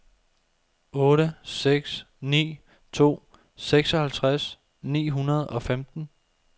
otte seks ni to seksoghalvtreds ni hundrede og femten